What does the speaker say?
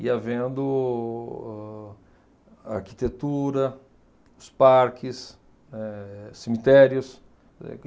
Ia vendo o a arquitetura, os parques, né, cemitérios.